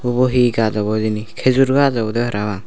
ubo he gaj obo hijeni khejur gaj obode parapang.